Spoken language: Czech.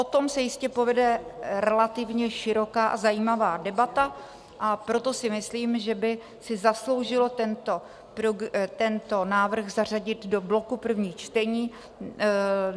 O tom se jistě povede relativně široká a zajímavá debata, a proto si myslím, že by si zasloužil tento návrh zařadit do bloku prvních čtení.